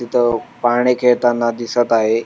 तिथं पाळणे खेळताना दिसत आहे.